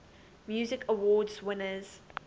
music awards winners